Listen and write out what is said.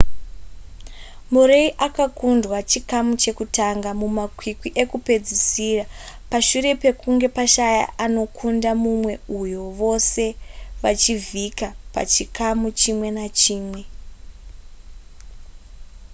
murray akakundwa chikamu chekutanga mumakwikwi ekupedzisira pashure pekunge pashaya anokunda mumwe uye vose vachivhika pachikamu chimwe nechimwe